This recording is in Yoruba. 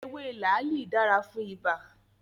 Ewé làálì dára fún ibà